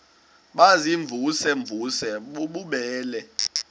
baziimvuze mvuze bububele